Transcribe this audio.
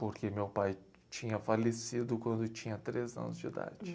Porque meu pai tinha falecido quando tinha três anos de idade.